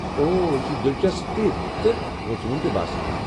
اوہ، یہِ چھُ دلچسپ تہِ تہٕ کھوژوُن تہِ باسان ۔